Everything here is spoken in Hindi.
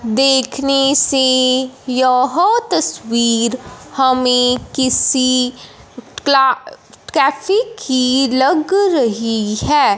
देखने से यह तस्वीर हमें किसी कला कैफी की लग रही है।